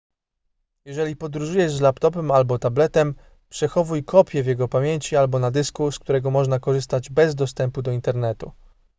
jeżeli podróżujesz z laptopem albo tabletem przechowuj kopię w jego pamięci albo na dysku z którego można korzystać bez dostępu do internetu